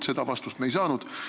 Seda vastust me ei saanud.